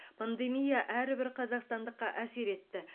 пандемия әрбір қазақстандыққа әсер етті